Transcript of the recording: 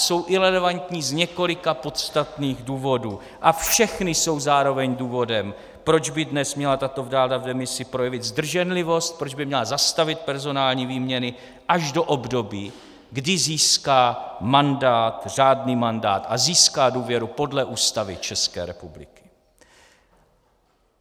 Jsou irelevantní z několika podstatných důvodů a všechny jsou zároveň důvodem, proč by dnes měla tato vláda v demisi projevit zdrženlivost, proč by měla zastavit personální výměny až do období, kdy získá mandát, řádný mandát, a získá důvěru podle Ústavy České republiky.